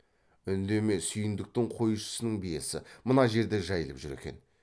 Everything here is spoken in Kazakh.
үндеме сүйіндіктің қойшысының биесі мына жерде жайылып жүр екен